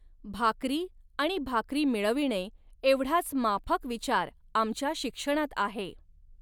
भाकरी आणि भाकरी मिळविणे एवढाच माफक विचार आमच्या शिक्षणात आहे.